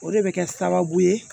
O de bɛ kɛ sababu ye